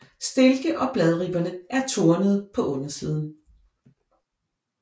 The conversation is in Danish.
Stilke og bladribberne er tornede på undersiden